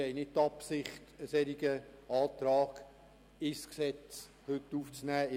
Wir haben nicht die Absicht, heute einen solchen Antrag ins Gesetz aufzunehmen.